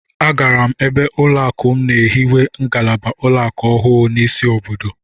Agara m ebe ụlọakụ m na-ehiwe ngalaba ụlọakụ ọhụụ n'isi obodo